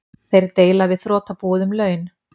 Þeir deila við þrotabúið um laun